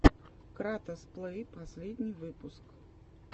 кратос плей последний выпуск